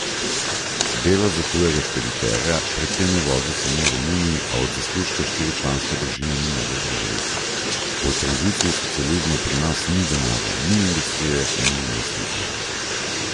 Dela za tujega špediterja, predtem je vozil samo v Romuniji, a od zaslužka štiričlanska družina ni mogla preživeti: 'Po tranziciji iz socializma pri nas ni denarja, ni industrije, ni investitorjev.